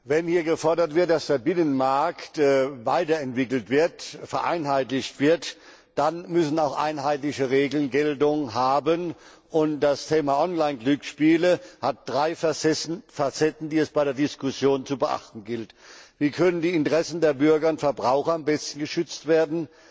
Wenn hier gefordert wird, dass der Binnenmarkt weiterentwickelt und vereinheitlicht wird, dann müssen auch einheitliche Regeln Geltung haben. Das Thema Online Glücksspiele hat drei Facetten, die es bei der Diskussion zu beachten gilt. Wie können die Interessen der Bürger und Verbraucher am besten geschützt werden?